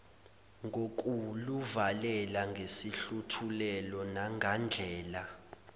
ngokuluvalela ngesihluthulelo nangandlela